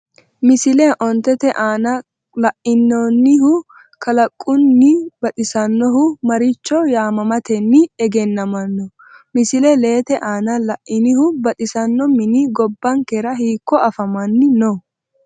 Misile 5 te aana la’inannihu kalaqamunni baxisannohu maricho yaamamatenni egennamanno? Misile 6te aana la’inihu baxisanno mini gobbankera hiikko afaman- no?